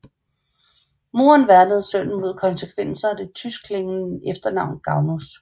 Moren værnede sønnen mod konsekvenser af det tyskeklingende efternavn Gagnus